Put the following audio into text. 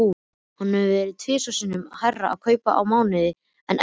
Hann hefur tvisvar sinnum hærra kaup á mánuði en Edda.